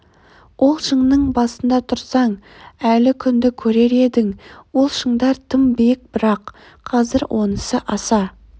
ол шыңның басында тұрсаң әлі күнді көрер едің ол шыңдар тым биік бірақ қазір онысы аса